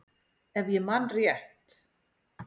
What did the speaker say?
Ef ég man rétt.